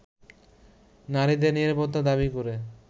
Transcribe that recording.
নারীদের নিরাপত্তা দাবি করে